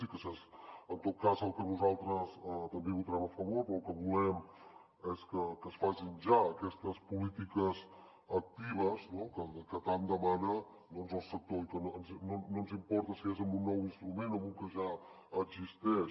i en tot cas nosaltres també hi votarem a favor però el que volem és que es facin ja aquestes polítiques actives no que tant demana el sector i que no ens importa si és amb un nou instrument o amb un que ja existeix